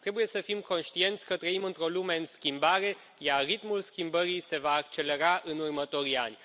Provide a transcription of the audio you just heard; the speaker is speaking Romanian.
Trebuie să fim conștienți că trăim într o lume în schimbare, iar ritmul schimbării se va accelera în următorii ani.